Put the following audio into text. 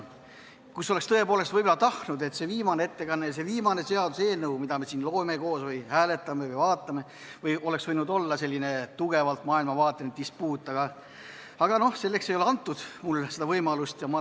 Võib-olla oleks tõepoolest tahtnud, et see viimane ettekanne ja viimane seaduseelnõu, mida me siin koos loome või hääletame, oleks olnud selline tugevalt maailmavaateline dispuut, aga no selleks ei ole mulle võimalust antud.